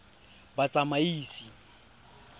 batsamaisi